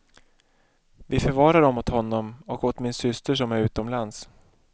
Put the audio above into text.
Vi förvarar dem åt honom och åt min syster, som är utomlands.